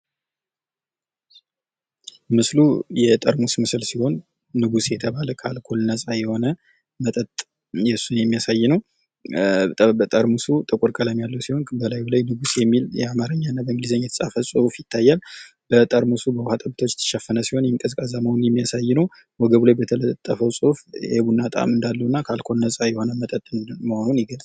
ምስሉ የጠርሙስ ምስል ሲሆን ንጉሥ የተባለ ከአልኮል ነፃ የሆነ መጠጥ ።እሱን የሚያሳይ ነው። ጠርሙሱ ጥቁር ቀለም ያለው ሲሆን እላዩ ላይ የሚል የአማርኛ እና በእንግሊዝኛ የተጻፈ ጽሁፍ ይታያል። ጠርሙሱም በውሀ ጠብታዎች የተሸፈነ ሲሆን ይህም ቀዝቃዛ መሆኑን የሚያሳይ ነው። ወገቡ ላይ በተለጠፈው ጽሑፍ የቡና ጣዕም እንዳለውና ከአልኮል ነፃ የሆነ መጠጥ መሆኑን ይገልጻል።